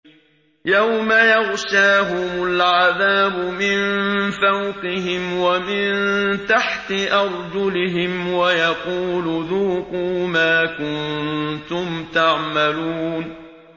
يَوْمَ يَغْشَاهُمُ الْعَذَابُ مِن فَوْقِهِمْ وَمِن تَحْتِ أَرْجُلِهِمْ وَيَقُولُ ذُوقُوا مَا كُنتُمْ تَعْمَلُونَ